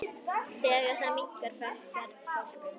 Þegar það minnkar fækkar fálkum.